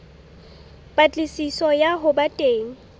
patlisiso ya ho ba teng